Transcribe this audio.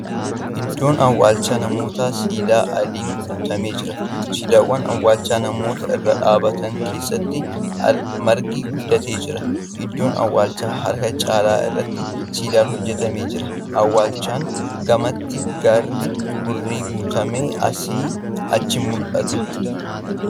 Iddoon awwaalchaa namootaa siidaa adiin guutame jira. Siidaawwan awwaalcha namoita irra dhaabbatan keessatti margi guddatee jira. Iddoo awwaalchaa harka caalu irratti siidaan hojjatmee jira. Awwaalchaan gamatti gaarri hurriin guutamee asii achi mul'ata.